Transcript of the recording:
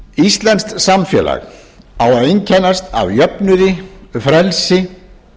íslenskt samfélag á að einkennast af jöfnuði frelsi